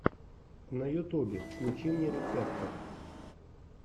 на ютубе включи мне рецепты